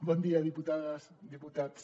bon dia diputades diputats